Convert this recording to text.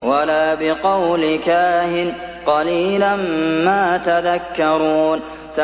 وَلَا بِقَوْلِ كَاهِنٍ ۚ قَلِيلًا مَّا تَذَكَّرُونَ